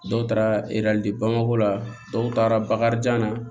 Dɔw taara bamako la dɔw taara bakarijan na